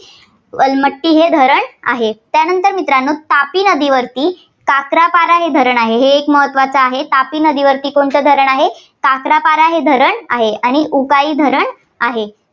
अलमट्टी हे धरण आहे. त्यानंतर मित्रांनो तापी नदीवरती काक्रापारा हे धरण आहे. हे एक महत्त्वाचं धरण आहे, तापी नदीवरती कोणतं धरण आहे? काक्रापारा हे धरण आहे. आणि उकाई धरण आहे.